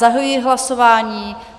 Zahajuji hlasování.